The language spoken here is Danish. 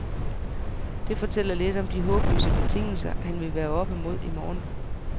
Det fortæller lidt om de håbløse betingelser, han vil være oppe mod i morgen.